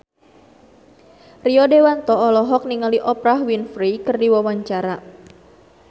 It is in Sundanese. Rio Dewanto olohok ningali Oprah Winfrey keur diwawancara